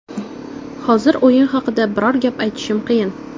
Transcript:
Hozir o‘yin haqida biror gap aytishim qiyin.